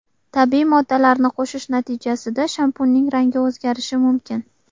Tabiiy moddalarni qo‘shish natijasida shampunning rangi o‘zgarishi mumkin.